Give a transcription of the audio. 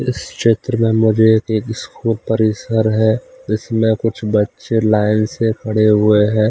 इस क्षेत्र में मुझे एक स्कूप परिसर है जिसमें कुछ बच्चे लाइन से खड़े हुए हैं।